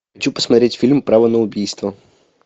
хочу посмотреть фильм право на убийство